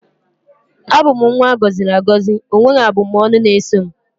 abum nwa agoziri agozi, onweghi abu m ọnụ na eso m